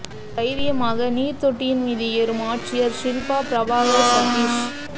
தைரியமாக நீர் தொட்டியின் மீது ஏறும் ஆட்சியர் ஷில்பா பிரபாகர் சதீஷ்